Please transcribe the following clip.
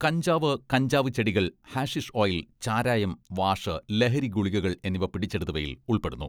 കഞ്ചാവ്, കഞ്ചാവ് ചെടികൾ, ഹാഷിഷ് ഓയിൽ, ചാരായം, വാഷ്, ലഹരി ഗുളികകൾ എന്നിവ പിടിച്ചെടുത്തവയിൽ ഉൾപ്പെടുന്നു.